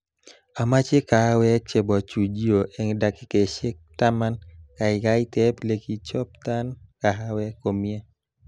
Amache kahawekchebo chujio eng dakikaishe taman, kaikai teb lekichobtan kahawek komie